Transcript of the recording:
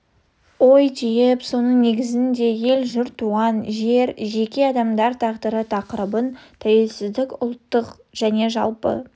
ой түйіп соның негізінде ел жұрт туған жер жеке адамдар тағдыры тақырыбын тәуелсіздік ұлттық және жалпы